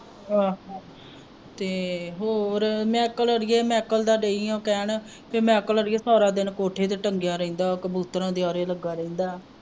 ਆਹੋ ਤੇ ਹੋਰ ਮੈਕਲ ਅੜੀਏ ਮੈਕਲ ਦਾ ਦਈ ਆ ਕਹਿਣ ਕਿ ਮੈਕਲ ਅੜੀਏ ਸਾਰਾ ਦਿਨ ਕੋਠੇ ਤੇ ਟੰਗਿਆ ਰਹਿੰਦਾ ਕਬੂਤਰਾਂ ਦੇ ਆਰੇ ਲੱਗਾ ਰਹਿੰਦਾ